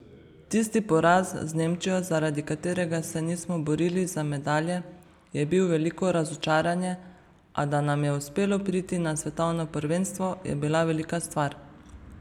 Tisti poraz z Nemčijo, zaradi katerega se nismo borili za medalje, je bil veliko razočaranje, a, da nam je uspelo priti na svetovno prvenstvo, je bila velika stvar.